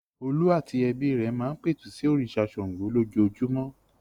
Olú àti ẹbí rẹ̀ máa ń pẹ̀tù sí òrìṣà Ṣàngó lójoojúmọ́.